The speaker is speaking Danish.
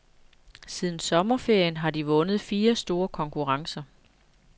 Siden sommerferien har de vundet fire store konkurrencer.